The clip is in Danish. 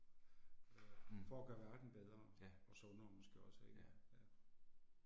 For at gøre verden bedre. Og sundere måske også ikke, ja